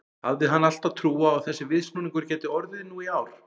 Hafði hann alltaf trú á að þessi viðsnúningur gæti orðið nú í ár?